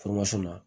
na